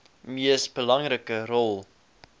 mees belangrike rol